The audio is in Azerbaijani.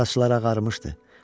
Saçları ağarmışdı.